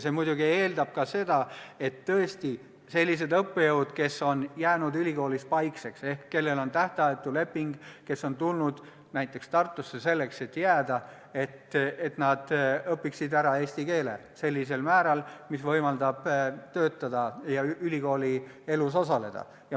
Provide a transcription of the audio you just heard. See muidugi eeldab seda, et õppejõud, kes on jäänud ülikoolis paikseks ehk kellel on tähtajatu leping – kes on tulnud näiteks Tartusse selleks, et jääda –, õpiksid ära eesti keele sellisel määral, mis võimaldaks neil siin töötada ja ülikoolielus osaleda.